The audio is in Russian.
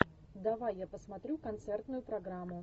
давай я посмотрю концертную программу